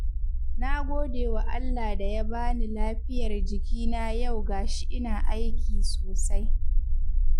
Na gode wa Allah da ya bani lafiyar jikina yau ga shi ina aiki sosai.